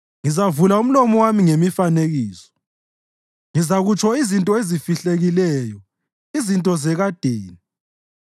Ngizavula umlomo wami ngemifanekiso, ngizakutsho izinto ezifihlekileyo, izinto zekadeni,